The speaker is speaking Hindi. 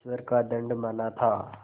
ईश्वर का दंड माना था